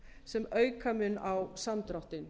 sem auka mun á samdráttinn